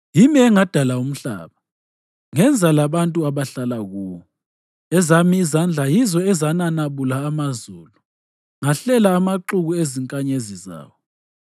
Yimi engadala umhlaba, ngenza labantu abahlala kuwo. Ezami izandla yizo ezananabula amazulu; ngahlela amaxuku ezinkanyezi zawo.